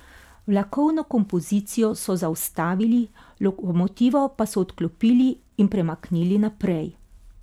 Vlakovno kompozicijo so zaustavili, lokomotivo pa so odklopili in premaknili naprej.